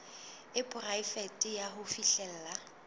e poraefete ya ho fihlella